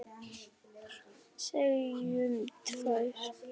Segjum tvær.